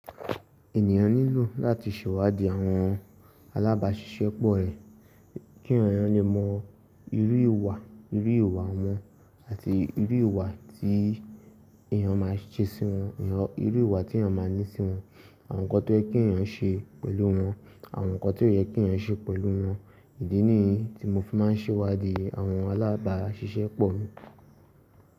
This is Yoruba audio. Ènìyàn nílò láti ṣèwádìí àwọn alábàáṣiṣẹ́ pọ̀ rẹ̀ kí eeyàn lè mọ irú ìwà, irú ìwà wọn àti irú ìwà tí èeyàn máa ṣe sí wọn, irú ìwà tí èeyàn máa ní sí wọn, àwọn nǹkan tó yẹ kí èeyàn ṣe pẹ̀lú wọn, àwọn nǹkan tí ó yẹ kí èeyàn ṣe pẹ̀lú wọn. Ìdí nìyí tí mo fi máa ń ṣèwádìí àwọn alábàáṣiṣẹ́ pọ̀ mi.